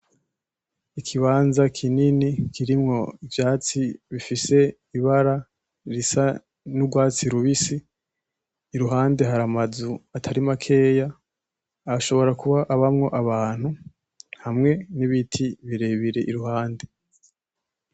Ikibanza kinini kirimwo ivyatsi bifise ibara risa nugwatsi rubisi iruhande hari amazu atari makeya ashobora kuba abamwo abantu hamwe n'ibiti birebire iruhande.